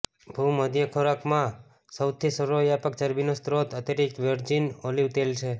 ભૂમધ્ય ખોરાકમાં સૌથી સર્વવ્યાપક ચરબીનો સ્રોત અતિરિક્ત વર્જિન ઓલિવ તેલ છે